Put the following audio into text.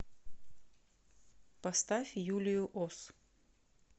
поставь юлию ос